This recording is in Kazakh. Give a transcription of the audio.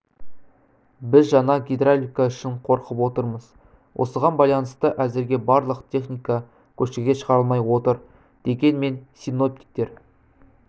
біз жаңа гидравлика үшін қорқып отырмыз осыған байланысты әзірге барлық техника көшеге шығарылмай отыр дегенмен синоптиктер